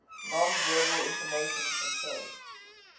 nonverbal information controlled